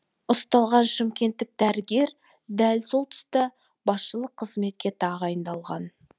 ұсталған шымкенттік дәрігер дәл сол тұста басшылық қызметке тағайындалған